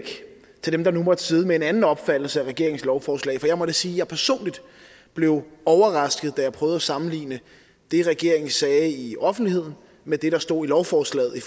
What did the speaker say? til dem der nu måtte sidde med en anden opfattelse af regeringens lovforslag for jeg må da sige at jeg personligt blev overrasket da jeg prøvede at sammenligne det regeringen sagde i offentligheden med det der stod i lovforslaget i